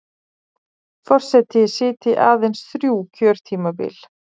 Forseti sitji aðeins þrjú kjörtímabil